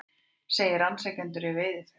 Segir rannsakendur í veiðiferð